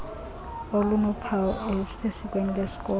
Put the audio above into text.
elinophawu olusesikweni lwesikolo